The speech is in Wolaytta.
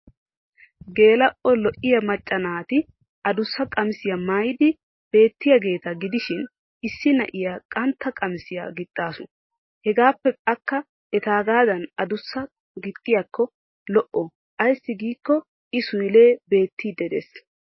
Geela'o lo'iya macca naati adussa qamisiya maayidi beettiyaageeta gidishin issi na'iyaa qantta qamisiya gixxaasu. Hegaappe akka etaagaadan adussaa gixxiyakko lo'o ayssi giikko I suyllee beettiiddi dees.